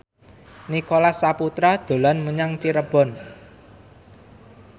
Nicholas Saputra dolan menyang Cirebon